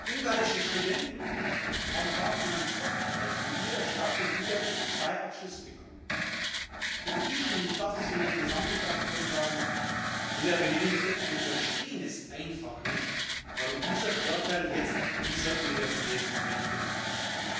Ungarische Studenten haben davon einen Vorteil, weil sie in ihrer Stadt in Budapest zwei Abschlüsse bekommen. Ich, und ich darf das für meine gesamte Fraktion sagen, lieber Herr Premierminister, wir verstehen einfach nicht, warum dieser Vorteil jetzt dieser Universität weggenommen wird.